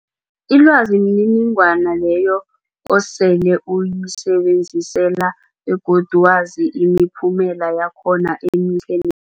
Ilwazi mniningwana leyo osele uyisebenzisile begodu wazi imiphumela yakhona emihle ne